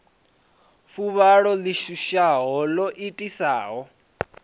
fuvhalo ḽi shushaho ḽo itisaho